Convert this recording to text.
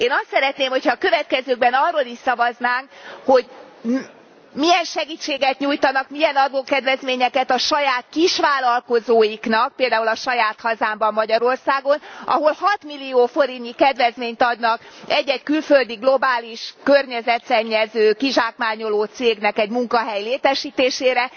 Én azt szeretném, hogyha a következőkben arról is szavaznánk, hogy milyen segítséget nyújtanak, milyen adókedvezményeket a saját kisvállalkozóiknak, például a saját hazámban Magyarországon, ahol 6 millió forintnyi kedvezményt adnak egy egy külföldi, globális környezetszennyező, kizsákmányoló cégnek egy munkahely létesítésére.